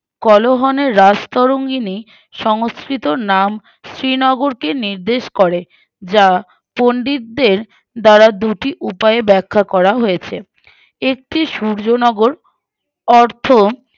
কলহনের রাজতরঙ্গিনী সংস্কৃতর নাম শ্রীনগরকে নির্দেশ করে যা পন্ডিতদের দ্বারা দুটি উপায় ব্যাখা করা হয়েছে একটি সূর্যনগর অর্থ